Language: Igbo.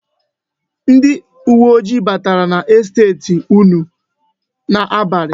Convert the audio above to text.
Ndi uweojii batara n'estet unu n'abalị.